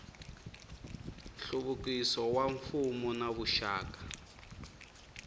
nhluvukiso wa mfuwo na vuxaka